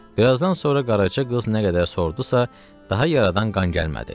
Bir azdan sonra qaraca qız nə qədər sorduysa daha yaradan qan gəlmədi.